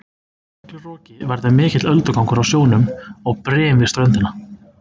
í miklu roki verður mikill öldugangur á sjónum og brim við ströndina